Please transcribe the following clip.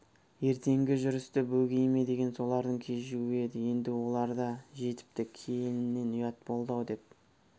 ертеңгі жүрісті бөгей ме деген солардың кешігуі еді енді олар да жетіпті келіннен ұят болды-ау деп